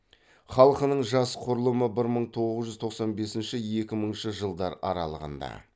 халқының жас құрылымы бір мың тоғыз жүз тоқсан бесінші екі мыңыншы жылдар аралығында